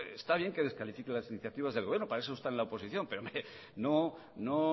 hombre está bien que descalifique las iniciativas del gobierno para eso está en la oposición pero no